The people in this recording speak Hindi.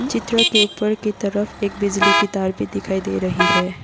चित्र के ऊपर की तरफ एक बिजली की तार भी दिखाई दे रही है ।